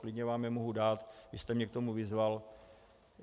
Klidně vám je mohu dát, vy jste mě k tomu vyzval.